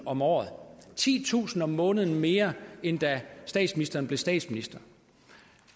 om året titusind kroner om måneden mere end da statsministeren blev statsminister